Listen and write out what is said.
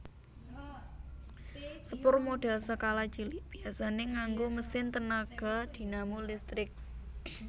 Sepur modèl skala cilik biasané nganggo mesin tenaga dinamo listrik